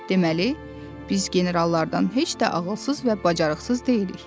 Deməli, biz generallardan heç də ağılsız və bacarıqsız deyilik.